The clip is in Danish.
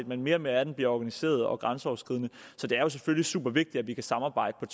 men mere og mere af den bliver organiseret og grænseoverskridende så det er selvfølgelig supervigtigt at vi kan samarbejde